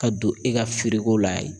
Ka don e ka firiko la yen.